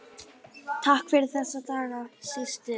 Takk fyrir þessa daga, systir.